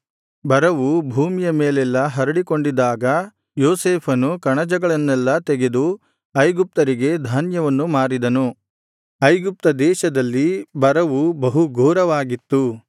ಬರವು ಭೂಮಿಯ ಮೇಲೆಲ್ಲಾ ಹರಡಿಕೊಂಡಿದಾಗ ಯೋಸೇಫನು ಕಣಜಗಳನ್ನೆಲ್ಲಾ ತೆಗೆದು ಐಗುಪ್ತರಿಗೆ ಧಾನ್ಯವನ್ನು ಮಾರಿದನು ಐಗುಪ್ತ ದೇಶದಲ್ಲಿ ಬರವು ಬಹುಘೋರವಾಗಿತ್ತು